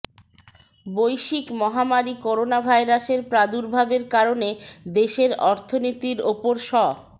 বৈশ্বিক মহামারি করোনাভাইরাসের প্রাদুর্ভাবের কারণে দেশের অর্থনীতির ওপর স